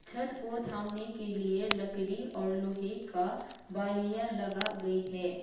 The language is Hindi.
छत को थामने के लिए लकड़ी और लोहे का बालिया लगा गई है।